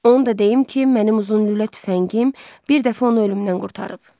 Onu da deyim ki, mənim uzun lülə tüfəngim bir dəfə onu ölümdən qurtarıb.